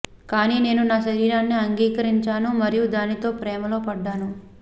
కానీ నేను నా శరీరాన్ని అంగీకరించాను మరియు దానితో ప్రేమలో పడ్డాను